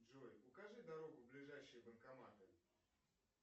джой укажи дорогу в ближайшие банкоматы